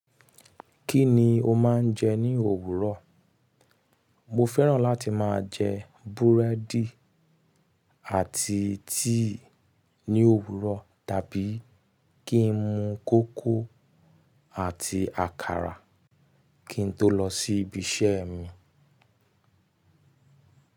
Kí ni o máa ń jẹ ní òwúrọ̀? Mo fẹ́ràn láti máa jẹ búrẹ́dì àti tíì ní òwúrọ̀ tàbí kí n mu kókò àti àkàrà kí n tó lọ síbi iṣẹ́ mi.